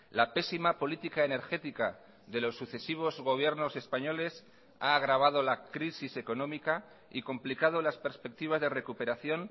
la pésima política energética de los sucesivos gobiernos españoles ha agravado la crisis económica y complicado las perspectivas de recuperación